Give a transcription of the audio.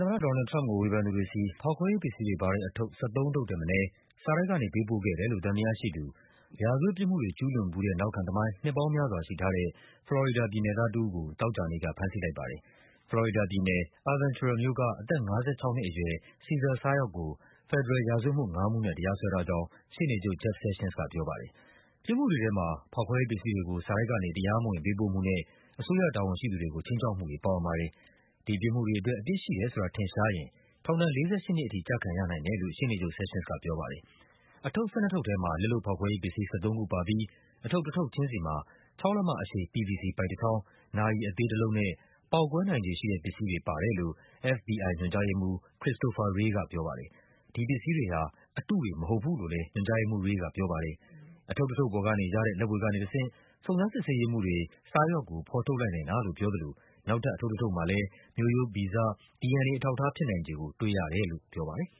သမ္မတ ဒေါ်နယ်လ်ဒ် ထရမ့်ပ်ကို ဝေဖန်သူတွေဆီ ဖောက်ခွဲရေးပစ္စည်းတွေပါတဲ့ အထုပ် ၁၃ ထုပ် ထက်မနည်း စာတိုက်ကနေ ပေးပို့ခဲ့တယ်လို့ သံသယရှိသူ ရာဇတ်ပြစ်မှုတွေ ကျူးလွန်ဖူးတဲ့ နောက်ခံ သမိုင်း နှစ်ပေါင်းများစွာရှိထားတဲ့ ဖလော်ရီဒါပြည်နယ်သားတဦးကို သောကြာနေ့က ဖမ်းဆီးလိုက်ပါတယ်။ ဖလော်ရီဒါပြည်နယ်၊ Aventura မြို့က အသက် ၅၆ နှစ်အရွယ် Cesar Sayoc ကို ဖက်ဒရယ် ရာဇဝတ်မှု ငါးမှုနဲ့ တရားစွဲထား ကြောင်း ရှေ့နေချုပ် Jeff Sessions ကပြောပါတယ်။ ပြစ်မှုတွေ ထဲမှာ ဖောက်ခွဲရေးပစ္စည်းတွေကို စာတိုက်ကနေ တရားမဝင် ပေးပို့မှုနဲ့ အစိုးရတာဝန်ရှိ သူတွေကို ခြိမ်းခြောက်မှုတွေ ပါဝင်ပါတယ်။ ဒီပြစ်မှုတွေအတွက် အပြစ်ရှိတယ်ဆိုတာ ထင်ရှားရင် ထောင်ဒဏ် ၄၈ နှစ်ထိ ကျခံရနိုင်တယ်လို့လည်း ရှေ့နေချုပ် Sessions ကပြောပါတယ်။ အထုပ် ၁၂ ထုပ်ထဲမှာ လက်လုပ်ဖောက်ခွဲရေးပစ္စည်း ၁၃ ခုပါပြီး အထုပ်တထုပ်ချင်းစီမှာ ၆ လက်မ အရှည် PVC ပိုက်တချောင်း၊ နာရီသေးတလုံးနဲ့ ပေါက်ကွဲနိုင်ခြေရှိတဲ့ပစ္စည်းတွေ ပါတယ်လို့ FBI ညွှန်ကြားရေးမှူး Christopher Wray ကပြောပါတယ်။ “ဒီပစ္စည်းတွေဟာ အတုတွေ မဟုတ်ပါဘူး” လို့လည်း ညွှန်ကြားရေးမှူး Wray ကပြောပါတယ်။ အထုပ်တထုပ်ပေါ်ကနေရတဲ့ လက်ဗွေကနေတဆင့် စုံစမ်းစစ်ဆေးရေးမှူးတွေ Sayoc ကို ဖော်ထုတ် လိုက်နိုင်တာလို့ ပြောသလို နောက်ထပ် အထုပ်တထုပ်မှာလည်း မျိုးရိုးဗီဇ DNA အထောက်အထားဖြစ်နိုင်ခြေကို တွေ့ရတယ်လို့ ပြောပါတယ်